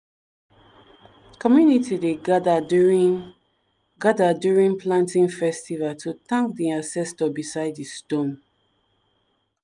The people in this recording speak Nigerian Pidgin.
community dey gather during gather during planting festival to thank di ancestor beside di stone.